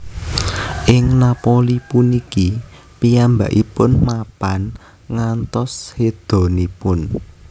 Ing Napoli puniki piyambakipun mapan ngantos sédanipun